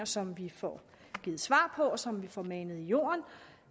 som vi får givet svar på og som vi får manet i jorden